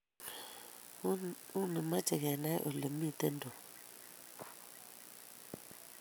Uni meche kenai ole mito Tom